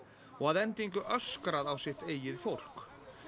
og að endingu öskrað á sitt eigið fólk